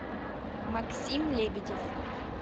максим лебедев